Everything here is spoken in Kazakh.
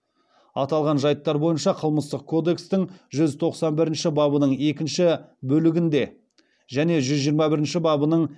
аталған жайттар бойынша қылмыстық кодекстің жүз тоқсан бірінші бабының екінші бөлігінде және жүз жиырма бірінші бабының